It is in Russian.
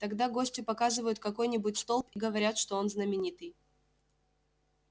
тогда гостю показывают какой нибудь столб и говорят что он знаменитый